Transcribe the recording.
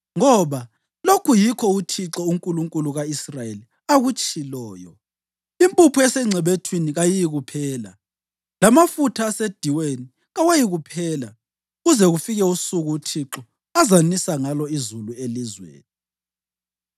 Ngoba lokhu yikho uThixo, uNkulunkulu ka-Israyeli akutshiloyo: ‘Impuphu esengcebethwini kayiyikuphela, lamafutha asediweni kawayikuphela, kuze kufike usuku uThixo azanisa ngalo izulu elizweni?’ ”